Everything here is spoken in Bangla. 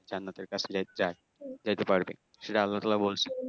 জান্নাতের কাছে এর যা~যাইতে পারবে সেটা আল্লাহতালা বলছে